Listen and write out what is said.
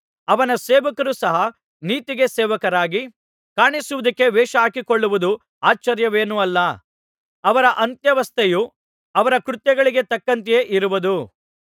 ಅವನ ಸೇವಕರೂ ಸಹ ನೀತಿಗೆ ಸೇವಕರಾಗಿ ಕಾಣಿಸುವುದಕ್ಕೆ ವೇಷಹಾಕಿಕೊಳ್ಳುವುದು ಆಶ್ಚರ್ಯವೇನಲ್ಲ ಅವರ ಅಂತ್ಯಾವಸ್ಥೆಯು ಅವರ ಕೃತ್ಯಗಳಿಗೆ ತಕ್ಕಂತೆಯೇ ಇರುವುದು